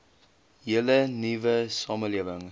hele nuwe samelewing